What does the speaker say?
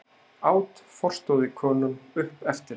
át forstöðukonan upp eftir henni.